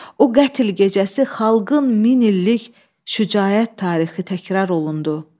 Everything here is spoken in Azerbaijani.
O qətl gecəsi xalqın min illik şücaət tarixi təkrar olundu.